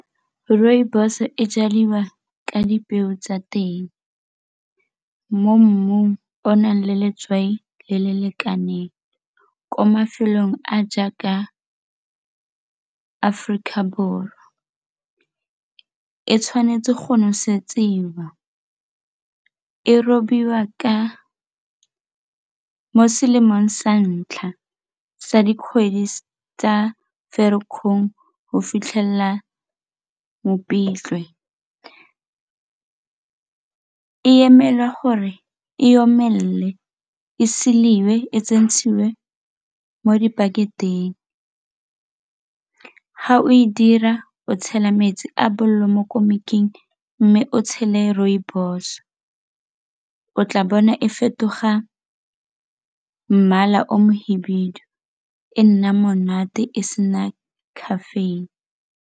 Rooibos e jadiwa ka dipeo tsa teng mo mmung o o nang le letswai le le lekaneng ko mafelong a jaaka Aforika Borwa, e tshwanetse go nosediwa, e robiwa ka mo seemong sa ntlha sa dikgwedi tsa ferikgong go fitlhelela Mopitlwe. E emelwa gore e omelele e seiwe e tsentswe mo dipakeng nteng ga o e dira o tshela metsi a bolelo mo komiking mme o tshele rooibos o tla bona e fetoga mmala o mohibidu e nna monate e sena caffeine.